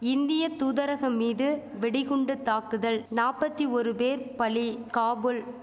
இந்திய தூதரகம் மீது வெடிகுண்டு தாக்குதல் நாப்பத்தி ஓரு பேர் பலி காபுல்